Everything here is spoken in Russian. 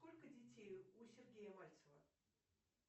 сколько детей у сергея мальцева